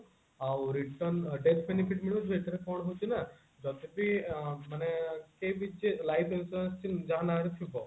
ଆ return death benefit ମିଳିବ ଯୋଉ ଏଥିରେ କଣ ହଉଛି ନା ଯଦି ବି ମାନେ କେହିବି ଯେ life insurance skim ଯାହା ନାଁ ରେ ଥିବ